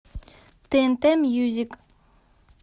тнт мьюзик